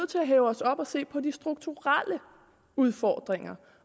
til at hæve os op og se på de strukturelle udfordringer